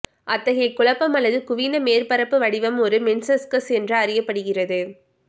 அத்தகைய குழப்பம் அல்லது குவிந்த மேற்பரப்பு வடிவம் ஒரு மென்சஸ்கஸ் என்று அறியப்படுகிறது